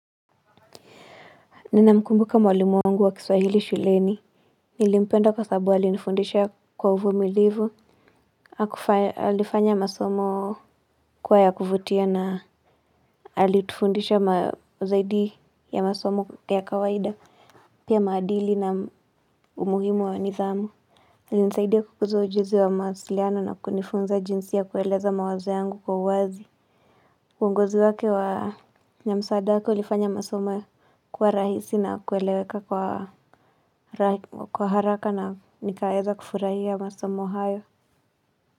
Nina mkumbuka mwalimu wangu wa kiswahili shuleni. Nilimpenda kwa sababu alinifundisha kwa uvumilivu. Alifanya masomo kuwa ya kuvutia na alitufundisha zaidi ya masomo ya kawaida. Pia maadili na umuhimu wa nidhamu. Alinisaidia kukuzua ujuzi wa mawasiliano na kunifunza jinsi ya kueleza mawazo yangu kwa uwazi. Uongozi wake wa na msaada wake ulifanya masomo kuwa rahisi na kueleweka kwa haraka na nikaeza kufurahia masomo hayo.